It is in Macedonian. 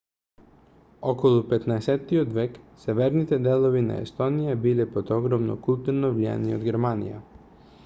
околу 15-от век северните делови на естонија биле под огромно културно влијание од германија